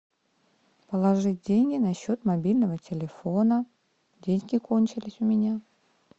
положи деньги на счет мобильного телефона деньги кончились у меня